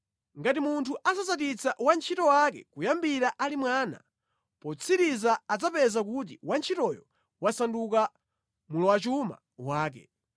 Ngati munthu asasatitsa wantchito wake kuyambira ali mwana, potsirizira adzapeza kuti wantchitoyo wasanduka mlowachuma wake.